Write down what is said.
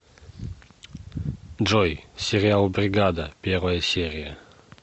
джой сериал бригада первая серия